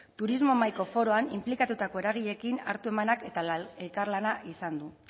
turismo mahaiko foroan inplikatutako eragileekin hartu emanak eta elkarlana izan du